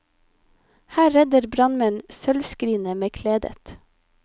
Her redder brannmenn sølvskrinet med kledet.